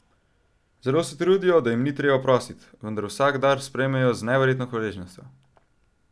Zelo se trudijo, da jim ni treba prosit, vendar vsak dar sprejmejo z neverjetno hvaležnostjo.